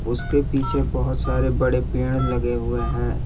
उसके पीछे बहुत सारे बड़े पेड़ लगे हुए हैं।